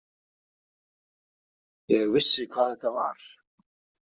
Ég vissi hvað þetta var.